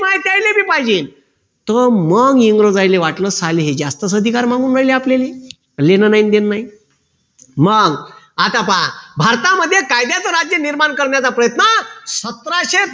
त्यानले बी पाहिजे तर मग इंग्रजांना वाटलं साले हे जास्तच अधिकार मागू राहिले आपल्याले घेणं नाही न देणं नाही मग आता पहा भारतामध्ये कायद्याचं राज्य निर्माण करण्याचा प्रयत्न सतराशे